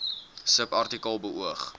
subartikel beoog